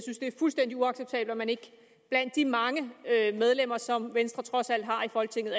fuldstændig uacceptabelt at man blandt de mange medlemmer som venstre trods alt har i folketinget